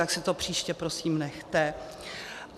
Tak si to příště prosím nechte.